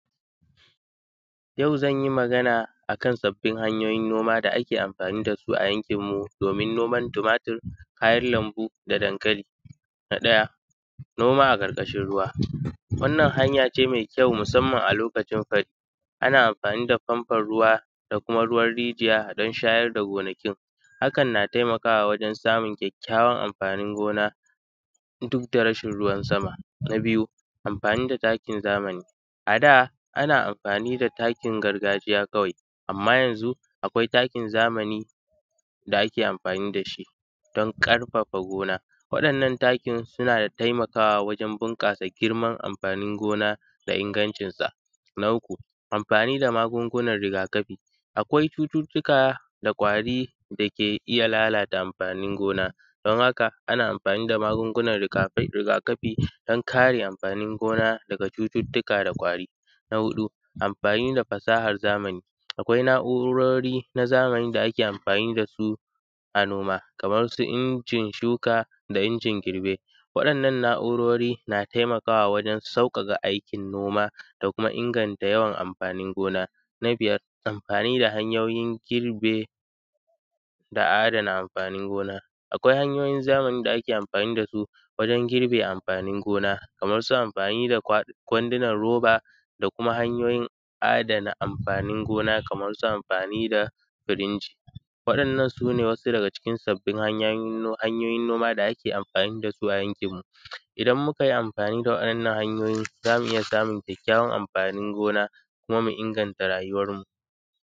Yau zanyi Magana ne akan sabbin hanyoyin noma da ake amfani da su a yankinmu domin noman tumatur, kayan lambu da dankali na ɗaya noma a ƙarƙashin ruwa wannan hanya ne mai kyaun musamman a lokacin fari, ana amfani da famfan ruwa da kuma ruwar rijiya dan shayar da gonakin hakan na taimakawa wajen samun kyakkyawan amfanin gona duk da rashin ruwa sama. Na biyu amfani da takin zamani ada ana amfani da takin gargajiya kawai amma yanzu akwai takin zamani da ake amfani da shi dan ƙarfafa gona waɗannan takin suna taimakawa wajen bunƙasa girman amfanin gona da ingancinsa. Na uku amfani da magungunan rigakafi akwai cututtuka da kwari ke iya lalata amfanin gona, dan haka ana amfani da magungunan rigakafi dan kare amfanin gona daga cututtuka da kwari, na huɗu amfani da fasahar zamani, akwai na’urori na zamani da ake amfani da su a noma kamar su injin shuka, da injin girbe waɗannan na’urori na taimakawa wajen sauƙaƙa aikin noma da kuma inganta yawan amfanin gona. Na biyar amfani da hanyoyin girbe da adana afanin gona akwai hanyoyin zamani da ake amfani da su wajen girbe amfanin gona kaman su amfani da kwandunan roba da kuma hanyoyin adana amfanin gona kamar su amfani da kwandunan roba da kuma hanyoyin adana amfanin gona, kamar su amfani da firinji waɗannan su ne wasu daga cikin sabbin hanyoyin noma da ake amfani da su a yankinmu, idan muka yi amfani da waɗannan hanyoyin za mu iya samun kyawun amfanin gona kuma muna inganta rayuwanmu.